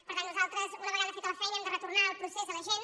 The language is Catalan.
per tant nosaltres una vegada feta la feina hem de retor·nar el procés a la gent